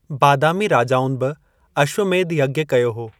बादामी राजाउनि बि अश्वमेध कयो हो।